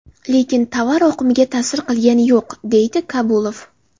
Lekin tovar oqimiga ta’sir qilgani yo‘q”, – deydi Kabulov.